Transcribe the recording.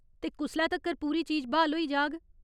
ते कुसलै तक्कर पूरी चीज ब्हाल होई जाह्ग ?